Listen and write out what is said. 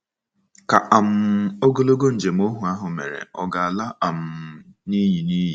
Ka um ogologo njem ohu ahụ mere ọ̀ ga-ala um n’iyi? n’iyi?